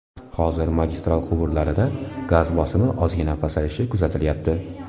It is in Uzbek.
Hozir magistral quvurlarida gaz bosimi ozgina pasayishi kuzatilyapti.